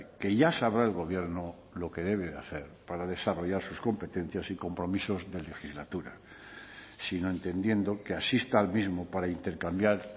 que ya sabrá el gobierno lo que debe de hacer para desarrollar sus competencias y compromisos de legislatura sino entendiendo que asista al mismo para intercambiar